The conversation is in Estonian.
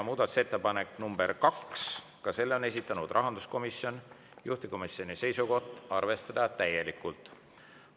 Muudatusettepanek nr 2, ka selle on esitanud rahanduskomisjon, juhtivkomisjoni seisukoht on arvestada täielikult.